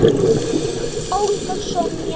Þín, Olga Sonja.